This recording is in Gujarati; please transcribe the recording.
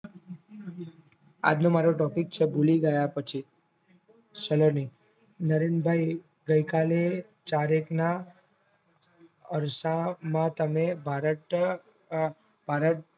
આજ નો મારો topic છે ભૂલી ગયા પછી સલોની નરેનભાઇ ગઈકાલે ચારેકના અરસા માં તમે ભારત અ ભારત